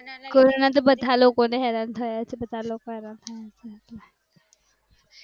corona બધા લોકોને હેરાન થયા છે